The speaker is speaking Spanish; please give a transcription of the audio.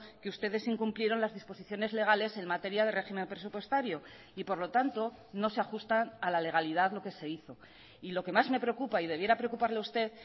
que ustedes incumplieron las disposiciones legales en materia de régimen presupuestario y por lo tanto no se ajustan a la legalidad lo que se hizo y lo que más me preocupa y debiera preocuparle a usted